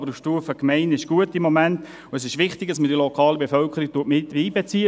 Aber auf Stufe Gemeinde ist es im Moment gut, und es ist wichtig, dass man die lokale Bevölkerung miteinbezieht.